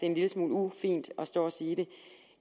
en lille smule ufint at stå og sige det